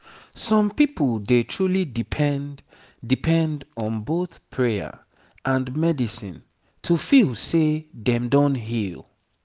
some people dey truly depend depend on both prayer and medicine to feel say dem don heal